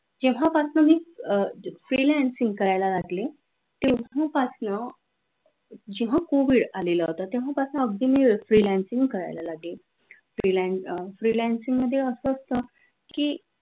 जेव्हा पासून मी freelancing करायला लागली तेव्हा पासन जेव्हा covid आलेल होत तेव्हापासून अगदी मी freelancing करायला लागले freelancing मध्ये अस असतं की